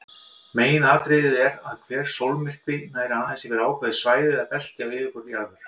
Meginatriðið er að hver sólmyrkvi nær aðeins yfir ákveðið svæði eða belti á yfirborði jarðar.